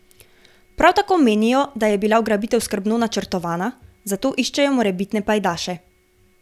Prav tako menijo, da je bila ugrabitev skrbno načrtovana, zato iščejo morebitne pajdaše.